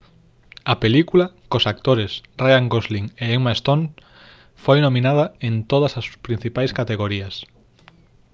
a película cos actores ryan gosling e emma stone foi nominada en todas as principais categorías